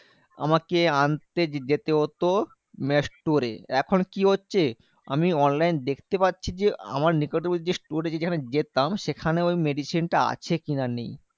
আমাকে আনতে যেতে হতো মানে store এ। এখন কি হচ্ছে? আমি online দেখতে পাচ্ছি যে, আমার নিকটবর্তী store এ যেখানে যেতাম সেখানে ওই medicine টা আছে কি না নেই?